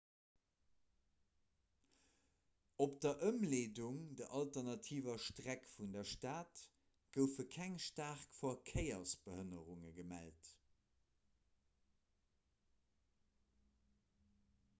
op der ëmleedung der alternativer streck vun der stad goufe keng staark verkéiersbehënnerunge gemellt